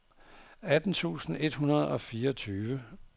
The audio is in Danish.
atten tusind et hundrede og fireogtyve